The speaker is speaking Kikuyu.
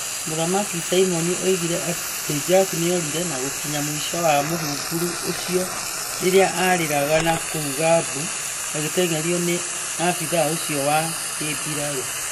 Mũthamaki Simon oigire atĩ Jack nĩorire na gũkinya mũico wa mũhunguru ũcio rĩrĩa aarĩraga na kuuga mbu, agĩteng'erio nĩ abithaa ucio wa kĩmbirarũ.